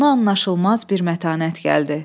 Ona anlaşılmaz bir mətanət gəldi.